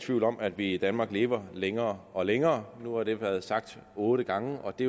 tvivl om at vi i danmark lever længere og længere nu har det været sagt otte gange og det